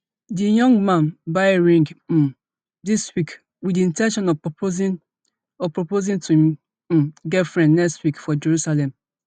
di young man buy ring um dis week wit di in ten tion of proposing of proposing to im um girlfriend next week for jerusalem